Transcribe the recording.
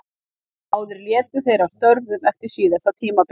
Báðir létu þeir af störfum eftir síðasta tímabil.